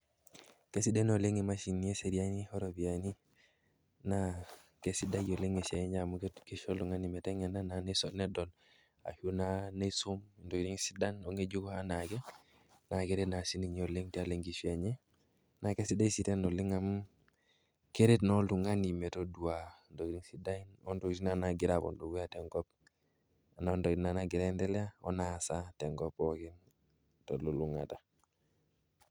Kesidai naa oleng' imashinini esiariani oropiyaini naa kesidai oleng' esiai enye amu kisho oltung'ani meteng'ena naa nitodol ashu naa niisum intokitin sidan ong'ejuko enaa ake naa keret naa sininye oleng' tialo enkishui enye naa kesidai naa sii tena oleng' amu keret naa oltung'ani metoduaa ntokitin naa naagira apuo dukuya tenkop na ntokitin naagira aiendelea onaasa tenkop pookin telulung'ata.